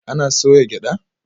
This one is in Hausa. Ana soya gyada?